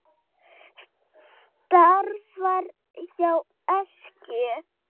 Starfar hjá Eskju.